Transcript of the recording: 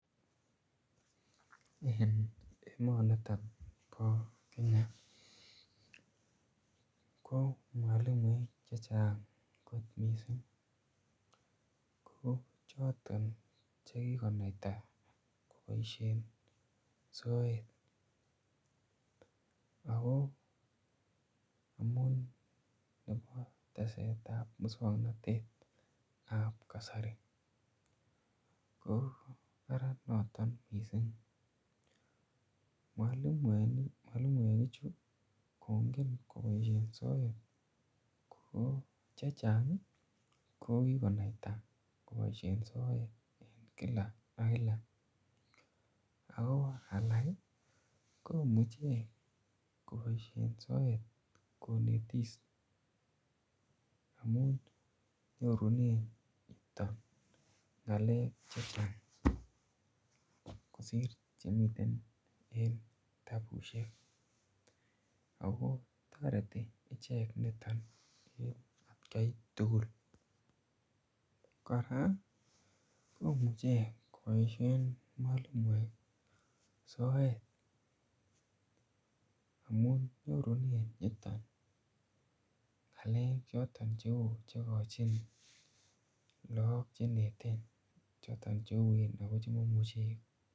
En emaniton po Kenya ko mwalimuek che chang'kot missing', ko choton che kikonaita kopashen soet ako amun nepo teset ap muswoknotet ap kasari. So, ko kararan noton missing'. Mwalimuekchu kongen kopaishen soet ko che chang' ko kikonaita kopaishen soet en kila ak kila. Ako alak komichi kopaishen soet konetis amun nyorunen chito ng'alek che chang' kosor che miten en kitabusiek. Ako tareti ichek niton en atkan tugul. Kora komuchen kopaishen mwalimuek soet amun nyorun yuton ng'alek choton che u che kochin lagok che neten ako chotok che uen ako che mamuchi konai.